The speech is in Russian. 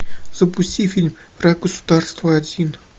запусти фильм враг государства один